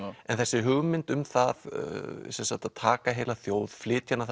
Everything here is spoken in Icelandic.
en þessi hugmynd um það að taka heila þjóð flytja hana